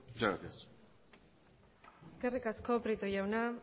muchas gracias eskerrik asko prieto jauna